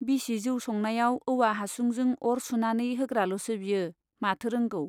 बिसि जौ संनायाव औवा हासुंजों अर सुनानै होग्राल'सो बियो , माथो रोंगौ ?